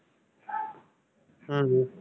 ஹம்